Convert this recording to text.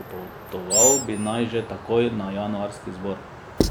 Pripotoval bi naj že takoj na januarski zbor.